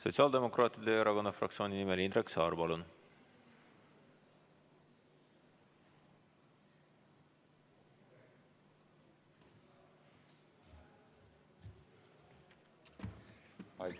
Sotsiaaldemokraatliku Erakonna fraktsiooni nimel Indrek Saar, palun!